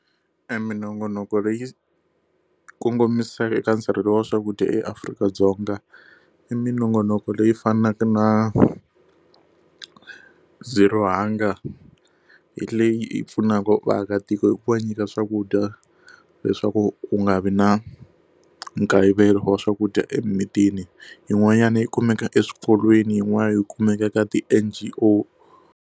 E minongonoko leyi kongomisiweke eka nsirhelelo wa swakudya eAfrika- Dzonga i minongonoko leyi fanaka na Zero Hunger hi leyi pfunaka vaakatiko hi ku va nyika swakudya leswaku ku nga vi na nkayivelo wa swakudya emimitini yin'wanyana yi kumeka eswikolweni yin'wana yi kumeka ka ti-N_G_O.